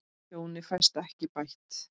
Tjónið fæst ekki bætt.